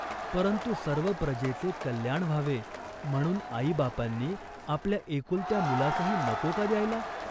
"परंतु सर्व प्रजेचे कल्याण व्हावे म्हणून आईबापांनी आपल्या एकुलत्या मुलासही नको का द्यायला ?